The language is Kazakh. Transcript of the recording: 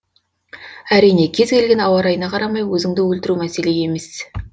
әрине кез келген ауа райына қарамай өзіңді өлтіру мәселе емес